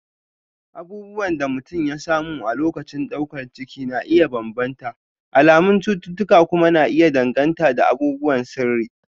abubuwan da mutum ya samu a lokacin daukar ciki na iya bambanta, alamun cututtuka kuma na iya danganta da abubuwan sirri